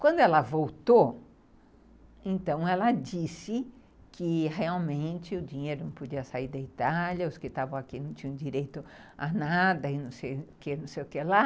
Quando ela voltou, então, ela disse que realmente o dinheiro não podia sair da Itália, os que estavam aqui não tinham direito a nada e não sei o que lá.